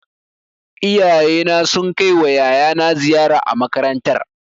Iyayena suna kai wa yayana ziyara a makarantar